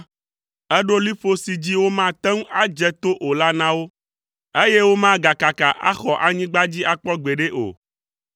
Èɖo liƒo si dzi womate ŋu adze to o la na wo, eye womagakaka axɔ anyigba dzi akpɔ gbeɖe o.